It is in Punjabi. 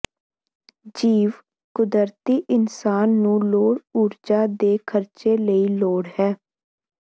ਜੀਵ ਕੁਦਰਤੀ ਇਨਸਾਨ ਨੂੰ ਲੋੜ ਊਰਜਾ ਦੇ ਖਰਚੇ ਲਈ ਲੋੜ ਹੈ